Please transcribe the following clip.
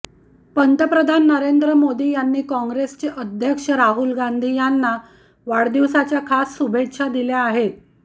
पंतप्रधान नरेंद्र मोदी यांनी काँग्रेसचे अध्यक्ष राहुल गांधी यांना वाढदिवसाच्या खास शुभेच्छा दिल्या आहेत